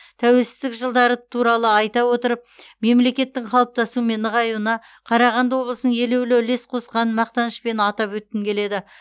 тәуелсіздік жылдары туралы айта отырып мемлекеттің қалыптасуы мен нығаюына қарағанды облысының елеулі үлес қосқанын мақтанышпен атап өткім келеді